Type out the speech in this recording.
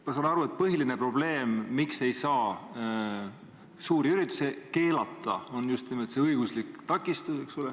Ma saan aru, et põhiline probleem, miks ei saa suuri üritusi keelata, on just nimelt õiguslik takistus.